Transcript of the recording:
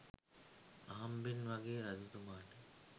අහම්බෙන් වගේ රජතුමාට